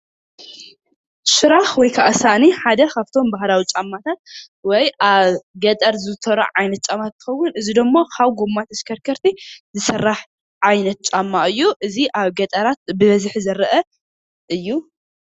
ሽራክ ወይከዓ ሳእኒ ሓደ ካብቶም ባህላዊ ጫማታት ወይ ኣብ ገጠር ዝዝውተሩ ዓይነት ጫማታት እንትከዉን እዚ ድማ ካብ ጎማ ተሽከርከቲ ዝስራሕ ዓይነት ጫማ እዩ። እዚ ኣብ ገጠራት ብበዝሒ ዝረአ እዩ ።